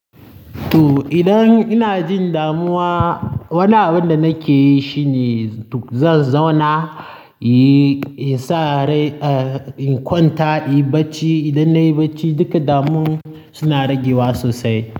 To idan ina jin damuwa wani abun da nake yi shine zan zauna, inyi insa rai, in kwanta, inyi bacci. Idan nayi bacci duka damunwan suna ragewa sosai.